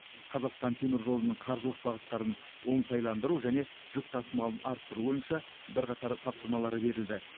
қазақстан темір жолының қаржылық бағыттарын оңтайландыру және жүк тасымалын арттыру бойынша бірқатар тапсырмалары берілді